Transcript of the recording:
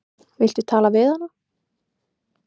Viltu tala við hana?